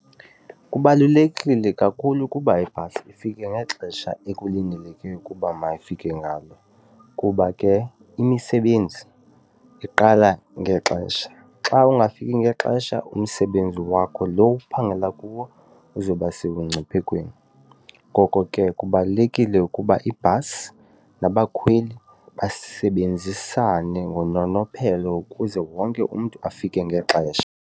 Kubalulekile kakhulu ukuba ibhasi ifike ngexesha ekulindeleke ukuba mayifike ngalo kuba ke imisebenzi iqala ngexesha xa ungafiki ngexesha umsebenzi wakho lo uphangela kuwo uzobasebungciphekweni. Ngoko ke kubalulekile ukuba ibhasi nabakhweli basebenzisane ngononophelo ukuze wonke umntu afike ngexesha.